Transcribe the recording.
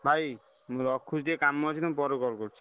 ଭାଇ ମୁଁ ରଖୁଛି ଟିକେ କାମ ଅଛି ମୁଁ ପରେ call କରୁଛି।